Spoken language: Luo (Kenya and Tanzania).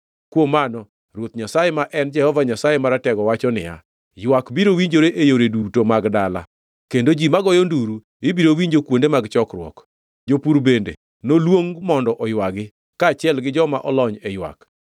Kuom mano, Ruoth Nyasaye, ma en Jehova Nyasaye Maratego wacho niya, “Ywak biro winjore e yore duto mag dala, kendo ji magoyo nduru ibiro winjo kuonde mag chokruok; jopur bende noluong mondo oywagi kaachiel gi joma olony e ywak.